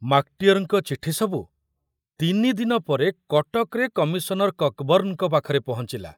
ମାକଟିଅରଙ୍କ ଚିଠି ସବୁ ତିନିଦିନ ପରେ କଟକରେ କମିଶନର କକବର୍ଣ୍ଣଙ୍କ ପାଖରେ ପହଞ୍ଚିଲା।